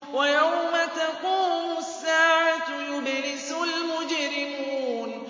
وَيَوْمَ تَقُومُ السَّاعَةُ يُبْلِسُ الْمُجْرِمُونَ